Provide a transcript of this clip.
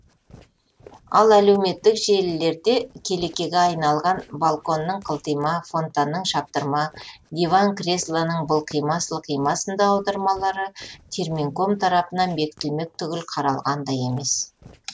ал әлеуметтік желілерде келекеге айналған балконның қылтима фонтанның шаптырма диван креслоның былқима сылқима сынды аудармалары терминком тарапынан бекітілмек түгілі қаралған да емес